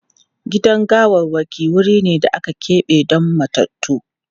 Gidan gawarwaki wuri ne da aka keɓe don matattu.